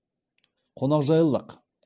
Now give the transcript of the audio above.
қонақжайлық